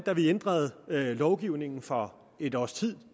da vi ændrede lovgivningen for et års tid